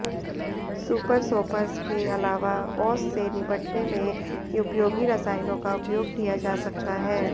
super soppers के अलावा औस से निबटने में उपयोगी रसायनों का उपयोग किया जा सकता है